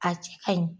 A cɛ kaɲi